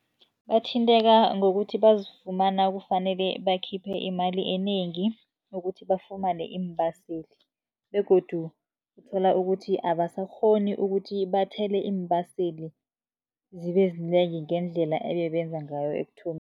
Bathinteka ngokuthi bazifumana kufanele bakhiphe imali enengi, ukuthi bafumane iimbaseli. Begodu uthola ukuthi abasakghoni ukuthi bathele iimbaseli, zibe zinengi ngendlela ebebenza ngayo